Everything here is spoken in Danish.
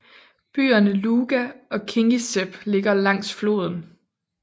Byerne Luga og Kingisepp ligger langs floden